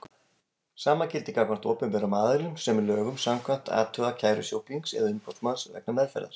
Sama gildir gagnvart opinberum aðilum sem lögum samkvæmt athuga kæru sjúklings eða umboðsmanns vegna meðferðar.